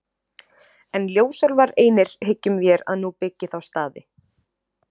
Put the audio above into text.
En ljósálfar einir hyggjum vér að nú byggi þá staði.